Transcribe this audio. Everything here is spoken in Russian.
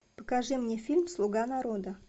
покажи мне фильм слуга народа